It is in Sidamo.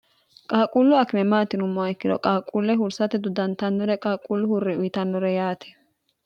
qaaquullu akime maatinummo ikkino qaaquulle hursate duddantannore qaaquullu hurriwitannore yaati